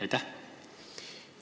Aitäh!